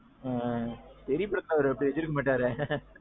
ஆ. தெறி படத்துல அவரு அப்படி வச்சிருக்க மாட்டாரே.